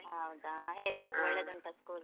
ಹೌದ? ಹೇಗುಂಟು, ಒಳ್ಳೆದುಂಟಾ school ?